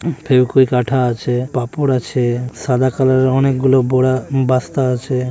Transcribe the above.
ফেবইকুইক আঠা আছে পাপড় আছে সাদা কালার অনেক গুলো বোড়া বস্তা আছে।